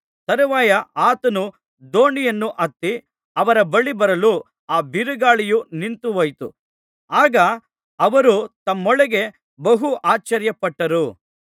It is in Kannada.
ತರುವಾಯ ಆತನು ದೋಣಿಯನ್ನು ಹತ್ತಿ ಅವರ ಬಳಿಗೆ ಬರಲು ಆ ಬಿರುಗಾಳಿಯು ನಿಂತುಹೋಯಿತು ಆಗ ಅವರು ತಮ್ಮೊಳಗೆ ಬಹು ಆಶ್ಚರ್ಯಪಟ್ಟರು